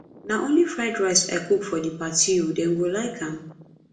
na only fried rice i cook for the party oo dem go like am